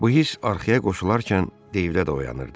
Bu hiss arxaya qoşularkən deydə dayanırdı.